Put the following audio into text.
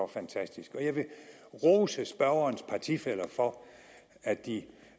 fantastisk og jeg vil rose spørgerens partifæller for at de